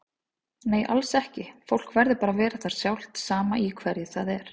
Nei alls ekki, fólk verður bara að vera það sjálft sama í hverju það er.